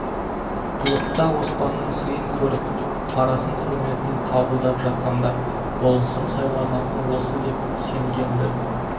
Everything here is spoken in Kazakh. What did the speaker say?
ұлықта оспанның сыйын көріп парасын құрметін қабылдап жатқанда болысым сайланатынын осы деп сенген-ді